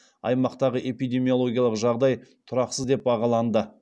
аймақтағы эпидемиологиялық жағдай тұрақсыз деп бағаланды